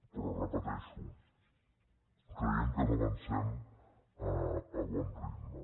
però ho repeteixo creiem que no avancem a bon ritme